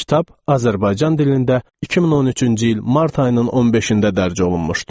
Kitab Azərbaycan dilində 2013-cü il mart ayının 15-də dərc olunmuşdu.